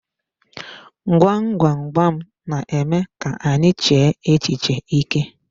Gwam gwam gwam n'eme ka anyị chee echiche ike.